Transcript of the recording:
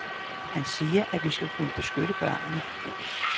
Han siger, at vi skal kunne beskytte børnene.